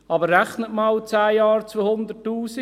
Aber rechnen Sie einmal zehn Jahre à 200 000 Franken: